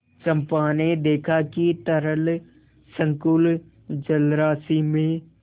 चंपा ने देखा कि तरल संकुल जलराशि में